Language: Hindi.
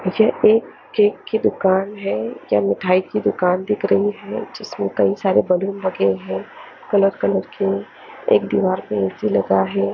ये एक केक की दुकान है या मिठाई की दुकान दिख रही है जिसमें कई सारे बैलून लगे हैं कलर कलर के एक दीवार पर एसी लगा है।